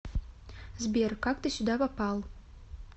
сбер как ты сюда попал